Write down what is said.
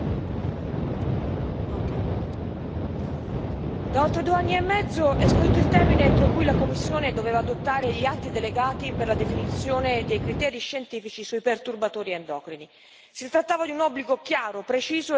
Signora Presidente, onorevoli colleghi, da oltre due anni e mezzo è scaduto il termine entro cui la Commissione doveva adottare gli atti delegati per la definizione dei criteri scientifici sui perturbatori endocrini. Si trattava di un obbligo chiaro, preciso e incondizionato.